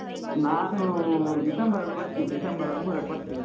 ನಾನು ಡಿಸೆಂಬರ್ ಅಲ್ಲಿ ಬರ್ತಿನಿ. ಡಿಸೆಂಬರ್ ಹದ್ಮೂರಕ್ ಬರ್ತಿನಿ.